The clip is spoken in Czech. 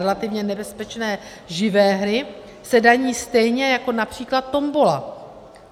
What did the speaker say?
Relativně nebezpečné živé hry se daní stejně jako například tombola.